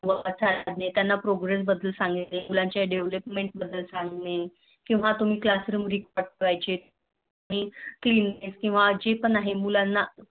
त्यांना Progress सांगणे किंवा मुलांच्या Development बद्द्दल सांग्याचे किंवा तुम्ही Classroom करायचे किंवा Claeanness किंवा जे पण आहे मुलांना